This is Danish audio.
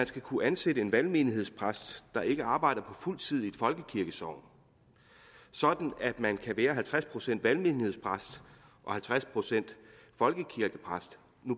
skal kunne ansættes en valgmenighedspræst der ikke arbejder på fuld tid i et folkekirkesogn sådan at man kan være halvtreds procent valgmenighedspræst og halvtreds procent folkekirkepræst